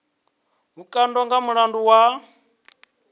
vhukando nga mulandu wa u